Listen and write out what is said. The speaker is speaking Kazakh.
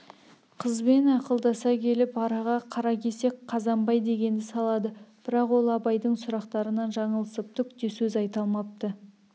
қызбен ақылдаса келіп араға қаракесек қазанбай дегенді салады бірақ ол абайдың сұрақтарынан жаңылысып түк те сөз айта алмапты